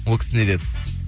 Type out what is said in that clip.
ол кісі не деді